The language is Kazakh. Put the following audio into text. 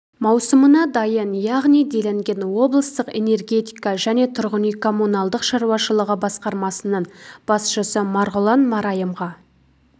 маусымына дайын яғни делінген облыстық энергетика және тұрғын үй коммуналдық шаруашылығы басқармасының басшысы марғұлан марайымға